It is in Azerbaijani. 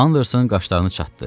Anderson qaşlarını çatdı.